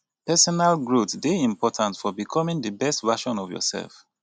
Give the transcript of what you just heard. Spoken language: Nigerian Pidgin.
peesonal growth dey important for becomming di best version of yourself